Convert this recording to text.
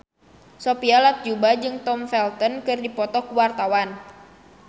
Sophia Latjuba jeung Tom Felton keur dipoto ku wartawan